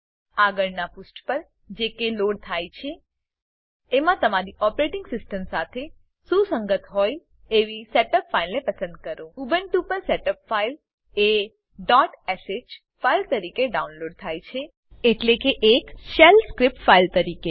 આગળનાં પુષ્ઠ પર જે કે લોડ થાય છે એમાં તમારી ઓપરેટીંગ સીસ્ટમ સાથે સુસંગત હોય એવી સેટઅપ ફાઈલને પસંદ કરો ઉબુન્ટુ પર સેટઅપ ફાઈલ એ ડોટ શ ફાઈલ તરીકે ડાઉનલોડ થાય છે એટલે કે એક શેલ સ્ક્રીપ્ટ ફાઈલ તરીકે